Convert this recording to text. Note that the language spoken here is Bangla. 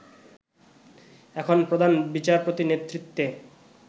এখন প্রধান বিচারপতির নেতৃত্বে